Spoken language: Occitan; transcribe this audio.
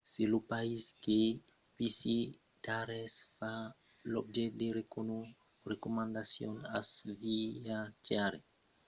se lo país que visitaretz fa l'objècte de recomandacions als viatjaires vòstra assegurança de santat de viatge o vòstra assegurança d'anullacion del viatge pòt èsser afectada